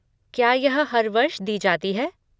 क्या यह हर वर्ष दी जाती है?